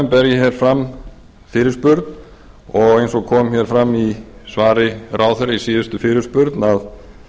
hér fram fyrirspurn og eins og kom hér fram í svari ráðherra við síðustu fyrirspurn að